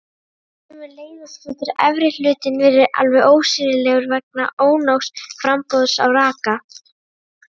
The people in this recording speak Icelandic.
Sömuleiðis getur efri hlutinn verið alveg ósýnilegur vegna ónógs framboðs á raka.